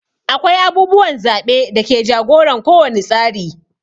Akwai abubuwan zaɓe da ke jagoran ko wani tsari.